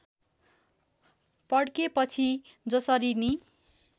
पड्केपछि जसरी नि